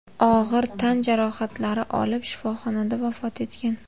og‘ir tan jarohatlari olib, shifoxonada vafot etgan.